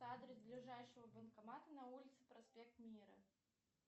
адрес ближайшего банкомата на улице проспект мира